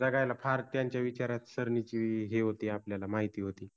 जगायला फार त्यांच्या विचार विचारसरणिचि हे होति आपल्याला माहिति होति.